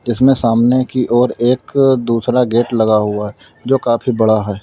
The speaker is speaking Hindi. इसमें सामने की ओर एक दूसरा गेट लगा हुआ है जो काफी बड़ा है।